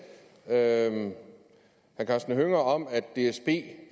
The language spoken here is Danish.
herre karsten hønge om at dsb